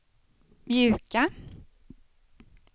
mjuka